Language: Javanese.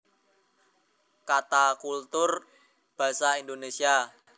Kata culture juga kadangditerjemahkan sebagai kultur dalam basa Indonesia